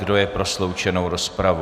Kdo je pro sloučenou rozpravu?